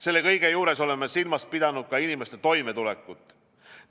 Selle kõige juures oleme silmas pidanud ka inimeste toimetulekut.